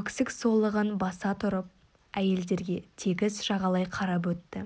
өксік солығын баса тұрып әйелдерге тегіс жағалай қарап өтті